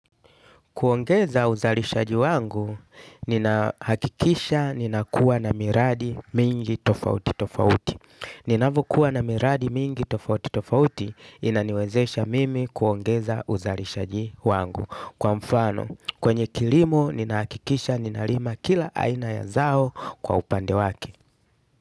Kuongeza uzalishaji wangu, ninahakikisha ninakuwa na miradi mingi tofauti tofauti. Ninapokuwa na miradi mingi tofauti tofauti, inaniwezesha mimi kuongeza uzalishaji wangu. Kwa mfano, kwenye kilimo, ninahakikisha, ninalima kila aina ya zao kwa upande wake.